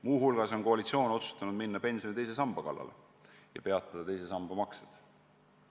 Muu hulgas on koalitsioon otsustanud minna pensioni teise samba kallale ja peatada sellesse maksete tegemise.